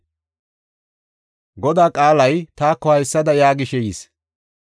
Godaa qaalay taako haysada yaagishe yis.